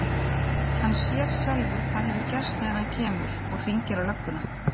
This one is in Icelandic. Hann sér sjálfur hvað hefur gerst þegar hann kemur. og hringir á lögguna.